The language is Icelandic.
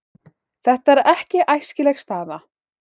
Þetta er ekki æskileg staða.